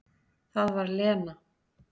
Það var Lena.